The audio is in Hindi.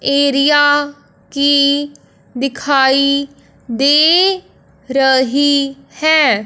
एरिया की दिखाई दे रही है।